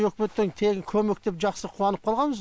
үкіметтен тегін көмек деп жақсы қуанып қалғанбыз